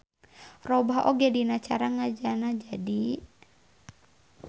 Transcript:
Robah oge dina cara ngejana jadi.